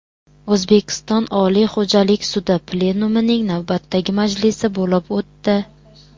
O‘zbekiston Oliy xo‘jalik sudi plenumining navbatdagi majlisi bo‘lib o‘tdi.